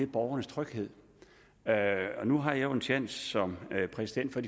borgernes tryghed nu har jeg jo også en tjans som præsident for